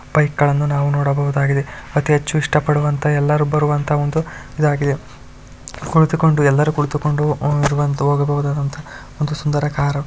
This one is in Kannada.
ಬೈಕ್ಗಳನ್ನು ನಾವು ನೋಡಬಹುದಾಗಿದೆ ಅತಿಹೆಚ್ಚು ಇಷ್ಟಪಡುವಂತಹ ಎಲ್ಲರೂ ಬರುವಂತಹ ಒಂದು ಇದಾಗಿದೆ ಕುಳಿತುಕೊಂಡು ಎಲ್ಲರೂ ಕುಳಿತುಕೊಂಡು ಹೋಗಬಹುದಾದಂತಹ ಒಂದು ಸುಂದರ ಕಾರು.